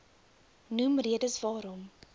noem redes waarom